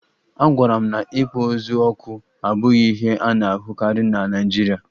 Agwara m na ịkpọ ozu ọkụ abụghị ihe a na-ahụkarị na Naịjirịa